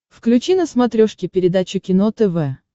включи на смотрешке передачу кино тв